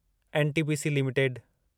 NTPC limited